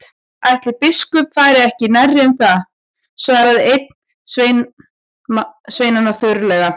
Ætli biskup fari ekki nærri um það, svaraði einn sveinanna þurrlega.